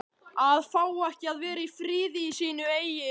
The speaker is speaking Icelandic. AÐ FÁ EKKI AÐ VERA Í FRIÐI Í SÍNU EIGIN